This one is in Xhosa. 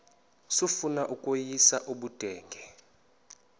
sifuna ukweyis ubudenge